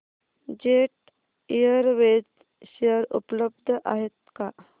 jet airways share उपलब्ध आहेत का